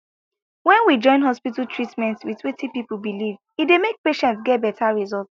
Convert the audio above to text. when we join hospital treatment with wetin people believe e dey make patients get better result